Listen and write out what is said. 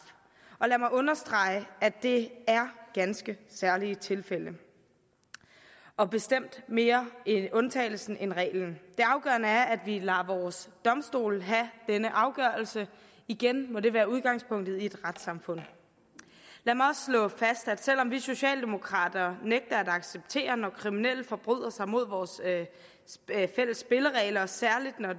og lad mig understrege at det er ganske særlige tilfælde og bestemt mere undtagelsen end reglen det afgørende er at vi lader vores domstole have denne afgørelse igen må det være udgangspunktet i et retssamfund lad mig også slå fast at selv om vi socialdemokrater nægter at acceptere når kriminelle forbryder sig mod vores fælles spilleregler særlig når